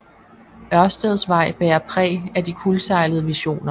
Ørsteds Vej bærer præg af de kuldsejlede visioner